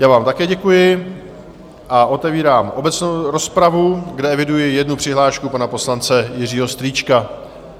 Já vám také děkuji a otevírám obecnou rozpravu, kde eviduji jednu přihlášku, pana poslance Jiřího Strýčka.